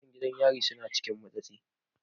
Mutan gidan yari suna cikin matsi.